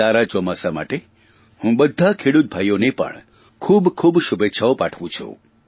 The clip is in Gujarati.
સારા ચોમાસા માટે હું બધા ખેડૂત ભાઇઓને પણ ખૂબખૂબ શુભેચ્છાઓ પાઠવું છું